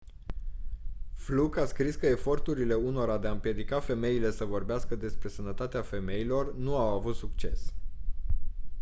fluke a scris că eforturile unora de a împiedica femeile să vorbească despre sănătatea femeilor nu au avut succes